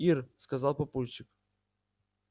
ир сказал папульчик